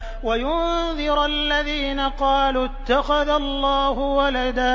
وَيُنذِرَ الَّذِينَ قَالُوا اتَّخَذَ اللَّهُ وَلَدًا